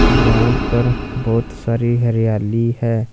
यहां पर बहोत सारी हरियाली है।